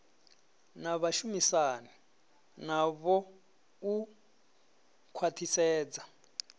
na vhashumisani navho u khwathisedza